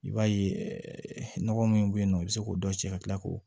I b'a ye nɔgɔ min bɛ yen nɔ i bɛ se k'o dɔ cɛ ka tila k'o